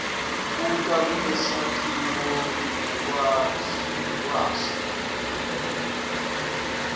buta kulesakhiwo ngekwaso